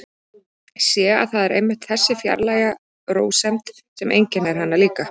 Sé að það er einmitt þessi fjarlæga rósemd sem einkennir hana líka.